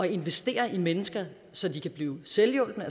investere i mennesker så de kan blive selvhjulpne